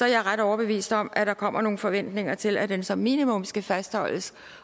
jeg ret overbevist om at der kommer nogle forventninger til at den som minimum skal fastholdes